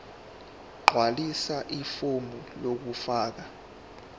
gqwalisa ifomu lokufaka